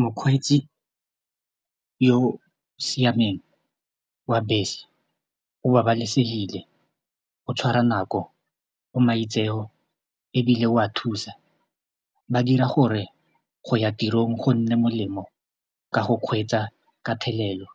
Mokgweetsi yo o siameng wa bese o babalesegile o tshwara nako o maitseo ebile o a thusa ba dira gore go ya tirong go nne molemo ka go kgweetsa ka thelelo